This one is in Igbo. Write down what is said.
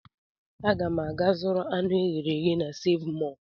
Aga m aga zụrụ anụ eghere eghe na Seev Mọọ.